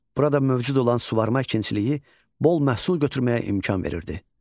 Burada mövcud olan suvarma əkinçiliyi bol məhsul götürməyə imkan verirdi.